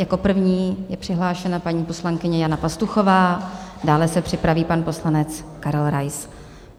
Jako první je přihlášena paní poslankyně Jana Pastuchová, dále se připraví pan poslanec Karel Rais.